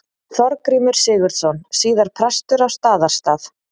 Þorgrímur Sigurðsson, síðar prestur á Staðarstað.